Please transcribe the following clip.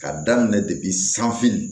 Ka daminɛ depi sanfini